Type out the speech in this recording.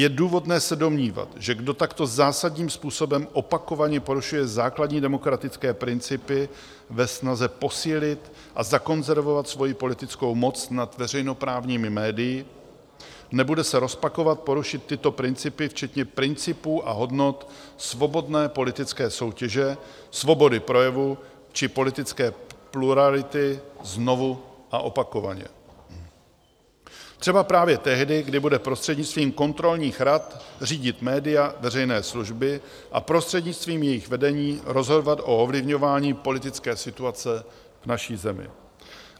Je důvodné se domnívat, že kdo takto zásadním způsobem opakovaně porušuje základní demokratické principy ve snaze posílit a zakonzervovat svoji politickou moc nad veřejnoprávními médii, nebude se rozpakovat porušit tyto principy včetně principů a hodnot svobodné politické soutěže, svobody projevu či politické plurality znovu a opakovaně, třeba právě tehdy, kdy bude prostřednictvím kontrolních rad řídit média veřejné služby a prostřednictvím jejich vedení rozhodovat o ovlivňování politické situace v naší zemi.